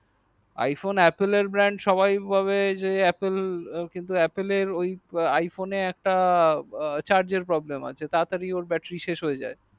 iphone apple এর brand সবাই ভাবে যে apple কিন্তু apple এর iphone এ একটা charge আর problem আছে তারা তারই ওর battery সস হইয়া যাই